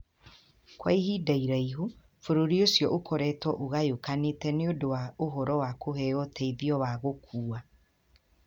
Kwa ihinda iraihu, bũrũri ũcio ũkoretwo ũgayũkanĩte nĩ ũndũ wa ũhoro wa kũheo ũteithio wa gũkua.